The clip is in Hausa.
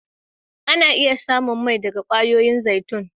Ana iya samu mai daga kwayoyin zaitun.